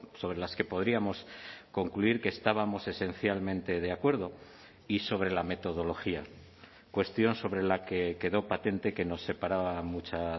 sobre las que podríamos concluir que estábamos esencialmente de acuerdo y sobre la metodología cuestión sobre la que quedó patente que nos separaba mucha